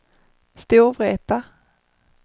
Storvreta